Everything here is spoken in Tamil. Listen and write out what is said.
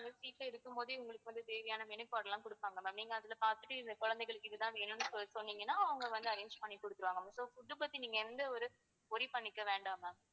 இருக்கும் போதே உங்களுக்கு தேவையான menu card லாம் கொடுப்பாங்க ma'am நீங்க அதுல பாத்துட்டு இந்த குழந்தைகளுக்கு இதுதான் வேணும்னு சொ~சொன்னீங்கன்னா அவங்க வந்து arrange பண்ணி கொடுத்துடுவாங்க ma'am so food பத்தி நீங்க எந்த ஒரு worry பண்ணிக்க வேண்டாம் ma'am